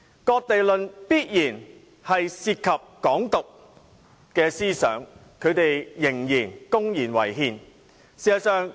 "割地論"必然涉及"港獨"思想，他們仍公然違憲。